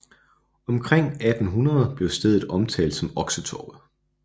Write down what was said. Omkring 1800 blev stedet omtalt som Oksetorvet